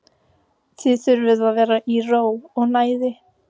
Þið þurfið að vera í ró og næði.